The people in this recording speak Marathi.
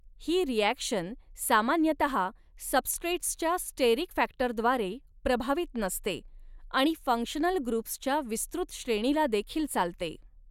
ही रिॲक्शन सामान्यतहा सब्स्ट्रेटसच्या स्टेरिक फॅक्टरद्वारे प्रभावित नसते आणि फ़ंक्शनल ग्रुप्सच्या विस्तृत श्रेणीला देखील चालते.